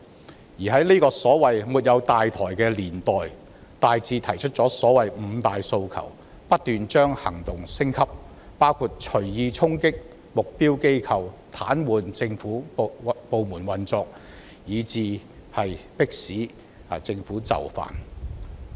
他們在這個所謂"沒有大台"的年代，大致提出了所謂"五大訴求"，並不斷把行動升級，包括隨意衝擊目標機構及癱瘓政府部門運作，以求迫使政府就範。